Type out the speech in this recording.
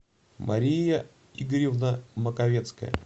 мария игоревна маковецкая